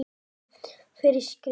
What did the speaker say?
Skref fyrir skrif.